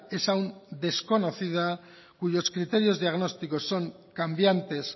es aún desconocida cuyos criterios diagnósticos son cambiantes